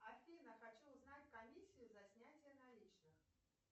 афина хочу узнать комиссию за снятие наличных